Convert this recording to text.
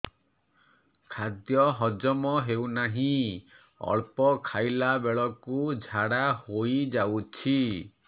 ଖାଦ୍ୟ ହଜମ ହେଉ ନାହିଁ ଅଳ୍ପ ଖାଇଲା ବେଳକୁ ଝାଡ଼ା ହୋଇଯାଉଛି